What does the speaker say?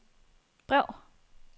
brev